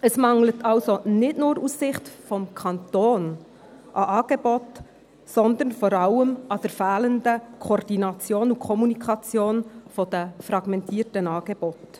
Es mangelt also nicht nur aus Sicht des Kantons an Angeboten, sondern vor allem an der fehlenden Koordination und Kommunikation der fragmentierten Angebote.